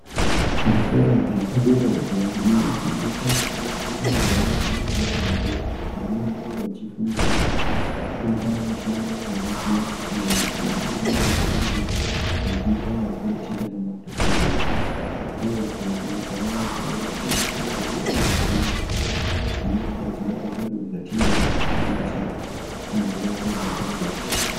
Zvikora zvepadera izvo zvinofundisa antu aya anenga abva zera apo vanenge vachifundira kuita mishando yakasiyana siyana iyo ingangodai iri yekuita vakoti kana madhokodheya uye kuitawo vantu vaya vanozogadzira michini inogadzira zvinhu zvatinoda kushandisa muzuwa rega rega.